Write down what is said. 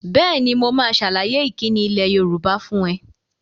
Bẹ́ẹ̀ni, mo máa sàlàyé ìkíni ilẹ̀ Yorùbá fún ẹ